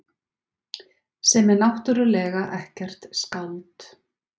Sem er náttúrlega ekkert skáld.